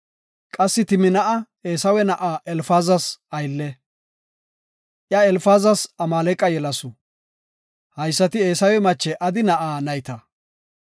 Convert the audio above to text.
Qassi Timnaa7a Eesawe na7a Elfaazas aylle. Iya Elfaazas Amaaleqa yelasu. Haysati Eesawe mache Adi na7aa nayta.